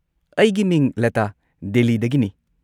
ꯑꯩꯒꯤ ꯃꯤꯡ ꯂꯇꯥ ꯗꯦꯜꯂꯤꯗꯒꯤꯅꯤ꯫